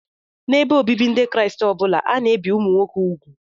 N'ebe obibi Ndị Kraịst ọ bụla, a na-ebi ụmụ nwoke úgwù